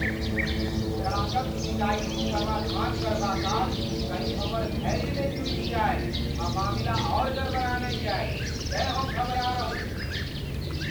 ग्राहकक सिकाइतक समाधान करबा काल कहीँ हमर धैर्य ने टूटि जाय आ मामिला आर गड़बड़ा ने जाए तेँ हम घबरा रहल छी।